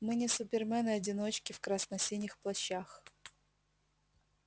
мы не супермены-одиночки в красно-синих плащах